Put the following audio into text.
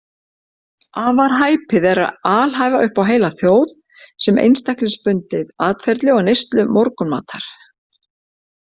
Afar hæpið er að alhæfa upp á heila þjóð eins einstaklingsbundið atferli og neyslu morgunmatar.